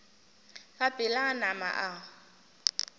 ka pela a nama a